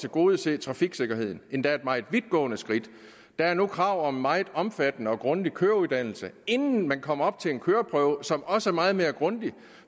tilgodese trafiksikkerheden endda et meget vidtgående skridt der er nu krav om en meget omfattende og grundig køreuddannelse inden man kommer op til en køreprøve som også er meget mere grundig